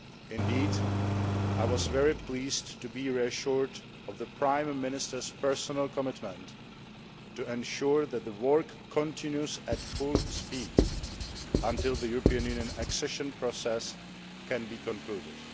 do. Indeed, I was very pleased to be reassured of the Prime Minister's personal commitment to ensuring that the work continues at full speed until the European Union accession process can be concluded.